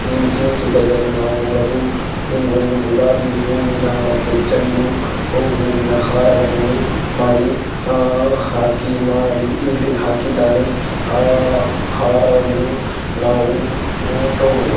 ಉಹ್ ಈ ಚಿತ್ರದಲ್ಲಿ ನಾವು ನೋಡೋದು ಹೂ ಒಂದು ಗುಲಾಬಿ ಹೂವಿನ ಮತ್ತೆ ಚೆಂಡು ಹೂವಿನ ಹಾರವನ್ನು ಮಾಡಿ ಹಾ_ಹಾಕಿ ಮಾಡಿ ಇಲ್ಲಿ ಹಾಕಿದ್ದಾನೆ. ಆ ಹಾರವನ್ನು ನಾವು ಹೂ ತಗೊಳುವ--